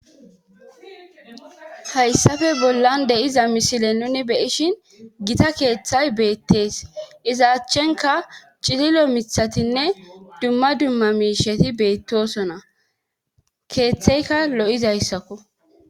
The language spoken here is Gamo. Hayssafe bollan de7iza misile nuni be7ishin gita keethay beettees izaachenkka cililo mithatinne dumma dumma miisheti beettoosona keetheyka lo7izayssako.